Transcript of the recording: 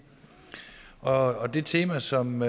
og det tema som